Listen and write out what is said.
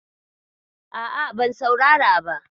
A'a, ban saurara ba.